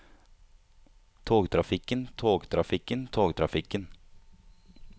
togtrafikken togtrafikken togtrafikken